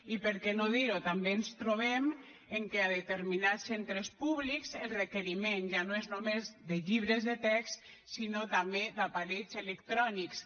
i per què no dir ho també ens trobem que a determinats centres públics el requeriment ja no és només de llibres de text sinó també d’aparells electrònics